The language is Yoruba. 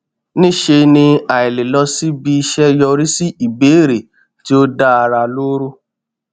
níṣe ni àìlè lọ síbi iṣẹ yọrí sí ìbéèrè tí ó dá ara lóró